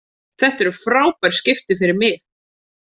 Þetta eru frábær skipti fyrir mig.